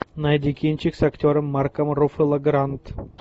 найди кинчик с актером марком руффало гранд